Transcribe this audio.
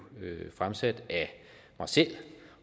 fremsat af mig selv